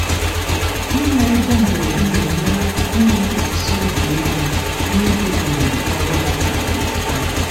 ịnwe ego mberede na-enyere aka inwe ntụkwasị obi ego n’oge ohere ọrụ dapụtara na japan.